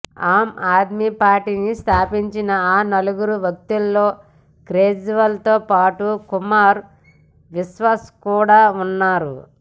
ఆమ్ ఆద్మీ పార్టీని స్థాపించిన నలుగురు వ్యక్తుల్లో కేజ్రీవాల్ తో పాటు కుమార్ విశ్వాస్ కూడా ఉన్నారు